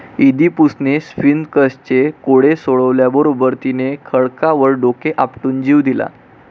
इदीपुसणे स्फिंक्सचे कोडे सोडवल्याबरोबर तिने खडकावर डोके आपटून जीव दिला.